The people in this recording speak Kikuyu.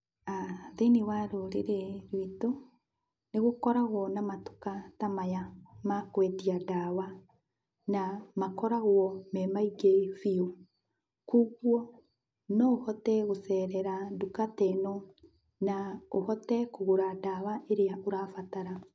Thĩiniĩ wa rũrĩrĩ rwitũ nĩgũkoragwo na matuka ta maya ma kwendia ndawa, na makoragwo me maingĩ biũ. Kwoguo no ũhote gũcerera nduka ta ĩno, na ũhote kũgũra ndawa ĩrĩa ũrabatara.